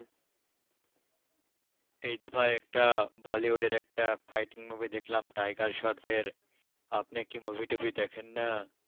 এই তো ভাই একটা bollywood এর একটা fighting movie দেখলাম টাইগার শ্রফের। আপনি কি movie টুভি দেখেন না?